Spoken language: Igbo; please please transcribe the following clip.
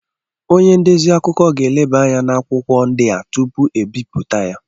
Onye ndezi akụkọ ga-elebanya n'akwụkwọ ndị a tupu e bipụta ha.